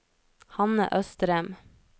Hanne Østrem